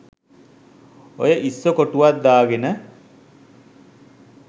ඔය ඉස්සො කොටුවක් දාගන